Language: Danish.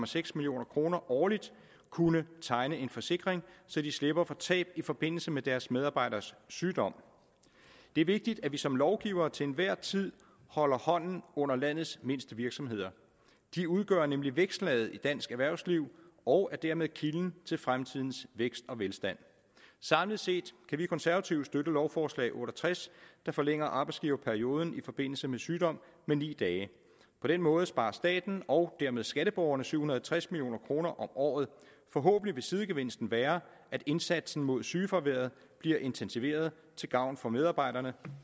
seks million kroner årligt kunne tegne en forsikring så de slipper for tab i forbindelse med deres medarbejderes sygdom det er vigtigt at vi som lovgivere til enhver tid holder hånden under landets mindste virksomheder de udgør nemlig vækstlaget i dansk erhvervsliv og er dermed kilden til fremtidens vækst og velstand samlet set kan vi konservative støtte lovforslag otte og tres der forlænger arbejdsgiverperioden i forbindelse med sygdom med ni dage på den måde sparer staten og dermed skatteborgerne syv hundrede og tres million kroner om året forhåbentlig vil sidegevinsten være at indsatsen mod sygefraværet bliver intensiveret til gavn for medarbejderne